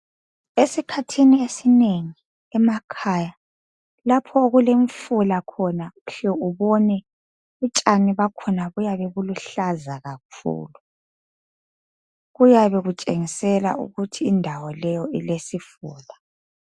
Esikhathini esinengi emakhaya lapho okulemifula khona uhle ubone utshani bakhona buyabe buluhlaza kakhulu kuyabe kutshengisela ukuthi indawo leyi ilesifula.